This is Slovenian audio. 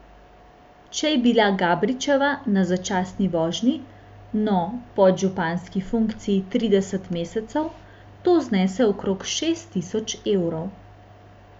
Če je bila Gabričeva na začasni vožnji, no, podžupanski funkciji trideset mesecev, to znese okrog šest tisoč evrov.